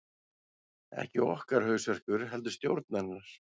Ekki okkar hausverkur heldur stjórnarinnar